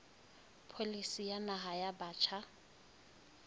pholisi ya naha ya batjha